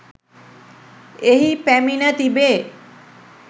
එහි පැමිණ තිබේ